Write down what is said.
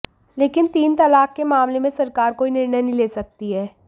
लेकिन तीन तलाक के मामले में सरकार कोई निर्णय नहीं ले सकती है